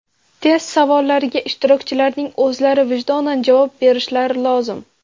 Test savollariga ishtirokchilarning o‘zlari vijdonan javob berishlari lozim.